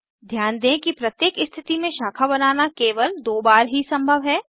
ध्यान दें कि प्रत्येक स्थिति में शाखा बनाना केवल दो बार ही संभव है